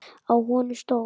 Á honum stóð